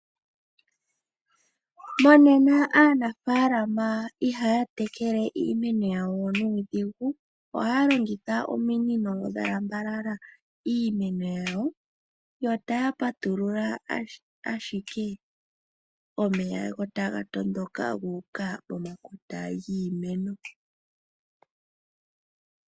Mongashingeyi aanafalama ihaya tekele we iimeno yawo nuudhigu, ohaya longitha ominino dha lambalala iimeno yawo, yo otaya patulula ashike omeya go taga tondoka guuka pomakota giimeno.